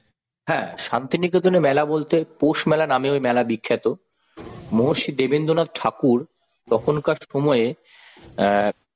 হ্যাঁ শান্তিনিকেতনে মেলা বলতে পৌষ মেলা নামে ওই মেলা বিখ্যাত মহর্ষি দেবেন্দ্রনাথ ঠাকুর তখনকার সময়ে অ্যাঁ